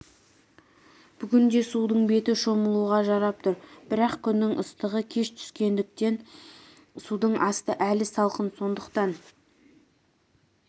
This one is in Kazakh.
бүгінде судың беті шомылуға жарап тұр бірақ күннің ыстығы кеш түскендіктен судың асты әлі салқын сондықтан